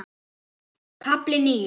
KAFLI NÍU